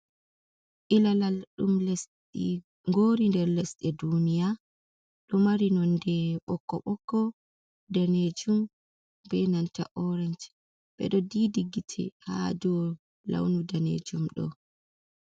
Iilalal dutm lesdi ngoori nder lesɗe duuniya, ɗo mari nonde ɓokko-ɓokko, daneejum bee nanta orench ɓe ɗo diidi gite haa dow lawnu daneejum ɗo.